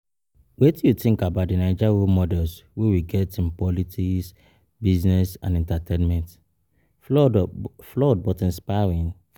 Wetin you think about di Naija role models wey we get in politics, business and entertainment, flawed or flawed but inspiring?